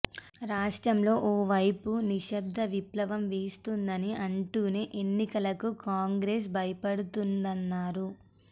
రాష్ట్రంలో ఓ వైపు నిశ్శబ్ద విప్లవం వీస్తుందని అంటూనే ఎన్నికలకు కాంగ్రెస్ భయపడుతుందన్నారు